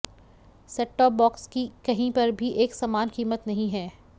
set top box की कहीं पर भी एक समान कीमत नहीं है